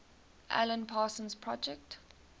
alan parsons project